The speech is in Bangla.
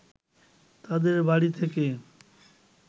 তাদের বাড়ি থেকে